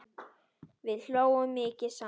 Við hlógum mikið saman.